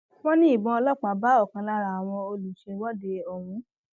wọn ní ìbọn ọlọpàá bá ọkan lára àwọn olùṣèwọde ọhún